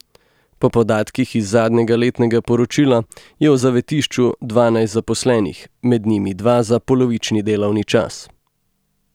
Po podatkih iz zadnjega letnega poročila je v zavetišču dvanajst zaposlenih, med njimi dva za polovični delovni čas.